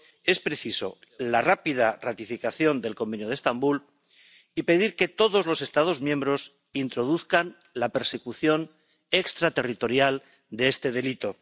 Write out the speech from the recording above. Es precisa la rápida ratificación del Convenio de Estambul y pedir que todos los Estados miembros introduzcan la persecución extraterritorial de este delito.